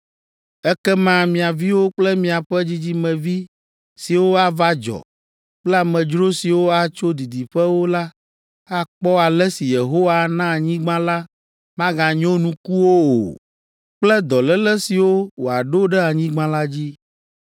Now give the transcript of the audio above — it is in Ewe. Ekema mia viwo kple miaƒe dzidzimevi siwo ava dzɔ kple amedzro siwo atso didiƒewo la akpɔ ale si Yehowa ana anyigba la maganyo nukuwo o kple dɔléle siwo wòaɖo ɖe anyigba la dzi.